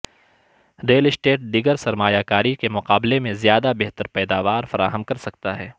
rail estate دیگر سرمایہ کاری کے مقابلے میں زیادہ بہتر پیداوار فراہم کر سکتا ہے